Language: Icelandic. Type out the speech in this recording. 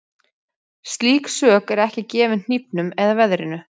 Slík sök er ekki gefin hnífnum eða veðrinu.